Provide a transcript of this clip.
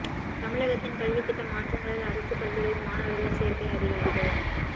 தமிழகத்தில் கல்வித் திட்ட மாற்றங்களால் அரசுப் பள்ளிகளில் மாணவா்கள் சோ்க்கை அதிகரிப்பு